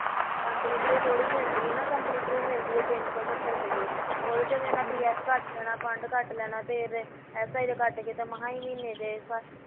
company through ਥੋੜੀ ਮਿਲਦੀ ਐ ਨਾ company through ਮਿਲਦੀ ਐ ਤਿੰਨ ਸੋ ਸਤਰ ਰੁਪਏ, ਉਹਦੇ ਚੋਂ ਏਹਨਾ pf ਕੱਟ ਲੈਣਾ ਫੰਡ ਕੱਟ ਲੈਣਾ ਤੇ si ਦਾ ਕੱਟ ਕੇ ਮਸ ਈ ਮਹੀਨੇ ਦੇ